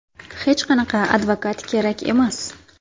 Hech qanaqa advokat kerak emas.